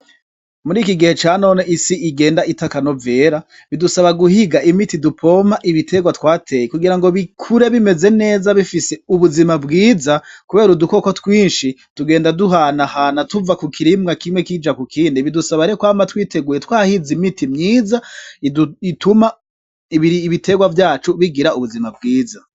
Murikigihe canone isi igenda ita akanovera bidusaba guhiga imiti dupompa ibiterwa tw'ateye kugirango bikure bimeze neza bifise ubuzima bwiza kubera udukoko twishi tugenda duhanana tuva kukiribwa kimwe tuja k'ukindi bidusaba rero kwama tw'iteguye tw'ahize imiti myiza bituma ibiterwa vyacu bigira ubuzima bwiza,